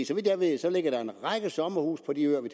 så vidt jeg ved ligger der en række sommerhuse på de øer vi